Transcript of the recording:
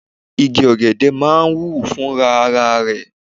Igi ọ̀gẹ̀dẹ̀ máa ń hù fúnra ara rẹ̀.